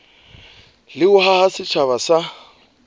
le ho haha setjhaba sa